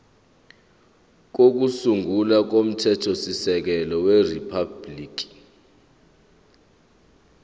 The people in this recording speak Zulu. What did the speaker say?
kokusungula komthethosisekelo weriphabhuliki